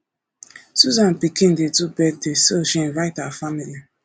susan pikin dey do birthday so she invite our family